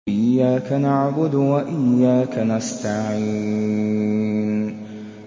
إِيَّاكَ نَعْبُدُ وَإِيَّاكَ نَسْتَعِينُ